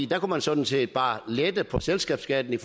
der kunne man sådan set bare lette på selskabsskatten i